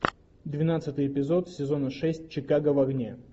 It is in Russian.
двенадцатый эпизод сезона шесть чикаго в огне